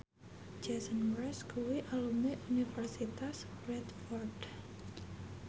Jason Mraz kuwi alumni Universitas Bradford